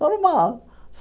Normal.